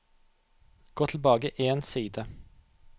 Gå tilbake én side